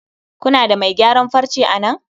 kuna da mai gyaran farce a nan?